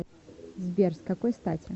сбер с какой стати